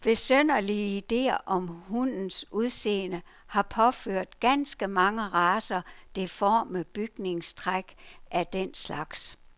Besynderlige idéer om hundes udseende har påført ganske mange racer deforme bygningstræk af den slags.